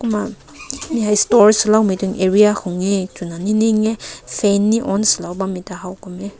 uh store sua loi area lao nene hae fan ne haw kum meh.